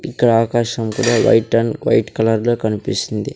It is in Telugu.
ఇక్కడ ఆకాశం కూడా వైట్ అండ్ వైట్ కలర్ లో కనిపిస్తుంది.